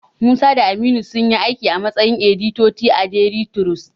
Musa da Aminu sunyi aiki a matsayin editoti a daili tirus.